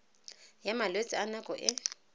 ya malwetse a nako e